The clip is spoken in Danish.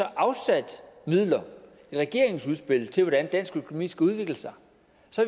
afsat midler i regeringens udspil til hvordan dansk økonomi skal udvikle sig